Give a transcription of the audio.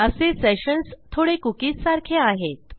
असे सेशन्स थोडे कुकीज सारखे आहेत